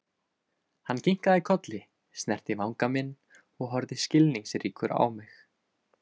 Hann kinkaði kolli, snerti vanga minn og horfði skilningsríkur á mig.